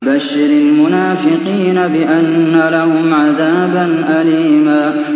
بَشِّرِ الْمُنَافِقِينَ بِأَنَّ لَهُمْ عَذَابًا أَلِيمًا